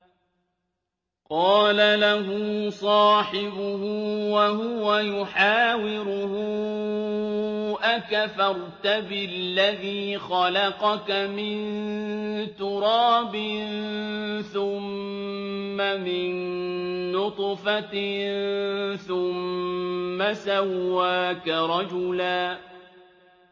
قَالَ لَهُ صَاحِبُهُ وَهُوَ يُحَاوِرُهُ أَكَفَرْتَ بِالَّذِي خَلَقَكَ مِن تُرَابٍ ثُمَّ مِن نُّطْفَةٍ ثُمَّ سَوَّاكَ رَجُلًا